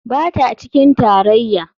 Ba ta cikin tarayya.